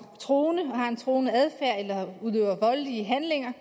truende og har en truende adfærd eller udøver voldelige handlinger